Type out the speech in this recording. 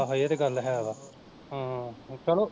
ਇਹ ਤੇ ਗੱਲ ਹੈ ਵਾ ਹਮ ਚਲੋ